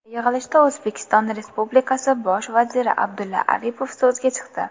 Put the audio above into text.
Yig‘ilishda O‘zbekiston Respublikasi Bosh vaziri A. Aripov so‘zga chiqdi.